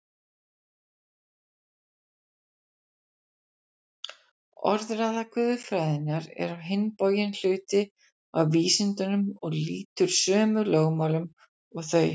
Orðræða guðfræðinnar er á hinn bóginn hluti af vísindunum og lýtur sömu lögmálum og þau.